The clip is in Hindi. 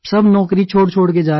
सब नौकरी छोड़छोड़ कर जा रहे हैं